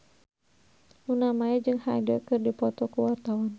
Luna Maya jeung Hyde keur dipoto ku wartawan